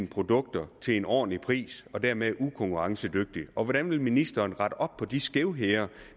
produkter til en ordentlig pris og dermed ikke være konkurrencedygtige hvordan vil ministeren rette op på de skævheder